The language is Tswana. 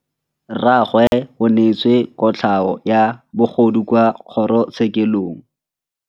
Rragwe o neetswe kotlhaô ya bogodu kwa kgoro tshêkêlông.